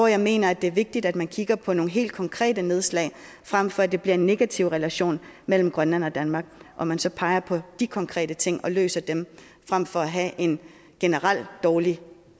jeg mener det er vigtigt at man så kigger på nogle helt konkrete nedslag frem for at det bliver en negativ relation mellem grønland og danmark at man så peger på de konkrete ting og løser dem frem for at have en generelt dårlig